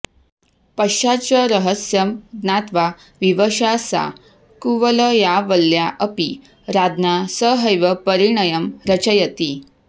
पश्चाच्च रहस्यं ज्ञात्वा विवशा सा कुवलयावल्या अपि राज्ञा सहैव परिणयं रचयति